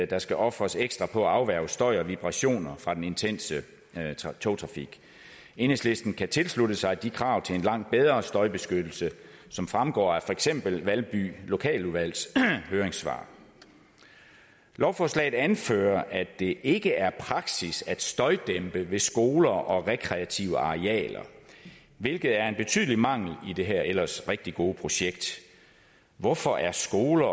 der skal ofres ekstra på at afværge støj og vibrationer fra den intense togtrafik enhedslisten kan tilslutte sig de krav til en langt bedre støjbeskyttelse som fremgår af for eksempel valby lokaludvalgs høringssvar i lovforslaget anføres det at det ikke er praksis at støjdæmpe ved skoler og rekreative arealer hvilket er en betydelig mangel i det her ellers rigtig gode projekt hvorfor er skoler